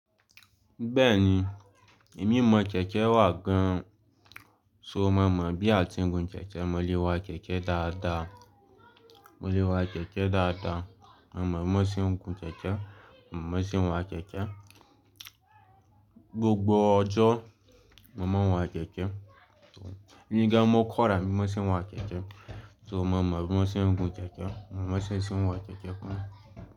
Bẹ́ẹ̀ni, èmi mọ kẹ̀kẹ́ wà gan-an, ṣùgbọ́n mo mọ̀ bí a ti ń gun kẹ̀kẹ́, mo lè wa kẹ̀kẹ́ dáadáa. Mo lè wa kẹ̀kẹ́ dáadáa, mo mọ̀ bí wọ́n ṣe ń gun kẹ̀kẹ́, mo mọ̀ bí wọ́n ṣe ń wa kẹ̀kẹ́. Gbogbo ọjọ́, mo máa ń wa kẹ̀kẹ́. Èmi gan ni mo kọ́ ara mi bí wọ́n ṣe ń wa kẹ̀kẹ́. Ṣùgbọ́n mo mọ̀ bí wọ́n ṣe ń gun kẹ̀kẹ́, mo mọ̀ bí wọ́n ṣe ń wa kẹ̀kẹ́ fún mi.